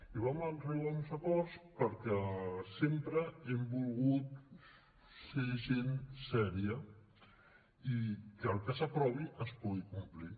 i vam arribar a uns acords perquè sempre hem volgut ser gent seriosa i que el que s’aprovi es pugui complir